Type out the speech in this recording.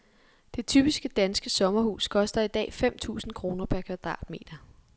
Det typiske, danske sommerhus koster i dag fem tusind kroner per kvadratmeter.